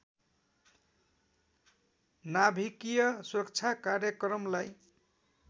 नाभिकीय सुरक्षा कार्यक्रमलाई